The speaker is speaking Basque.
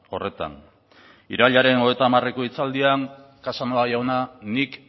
horretan irailaren hogeita hamareko hitzaldian casanova jauna nik